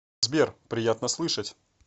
сбер приятно слышать